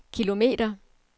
kilometer